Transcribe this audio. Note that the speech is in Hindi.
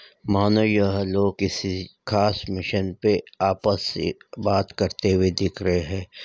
माना यह लोग किसी खास मिशन पे आपस से बात करते हुए दिख रहे है।